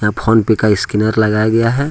Phone पे का scanner लगाया गया है।